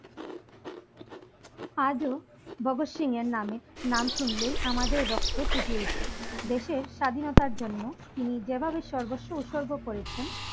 আজ ও ভগৎ সিং এর নামে নাম শুনলেই আমাদের রক্ত ফুটে ওঠে দেশের স্বাধীনতার জন্য তিনি যেভাবে সর্বস্ব উৎসর্গ করেছেন